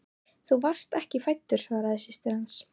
Þú varst ekki fæddur svaraði systir hans.